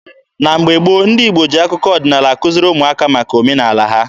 Na mgbe gboo, ndị Igbo ji akụkọ ọdịnaala akuziri ụmụaka maka omenaala ha.